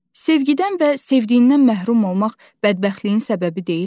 Sevgidən və sevdiyindən məhrum olmaq bədbəxtliyin səbəbi deyilmi?